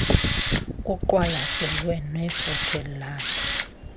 kuqwalaselwe nefuthe laloo